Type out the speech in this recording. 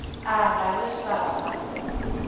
a ga re sa ba